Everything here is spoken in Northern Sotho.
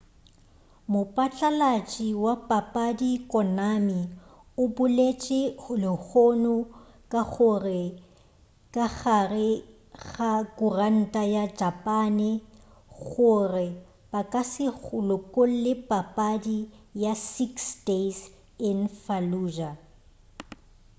mopatlalatši wa papadi konami o boletše lehono ka gare ga khuranta ya japane gore ba ka se lokolle papadi ya six days in fallujah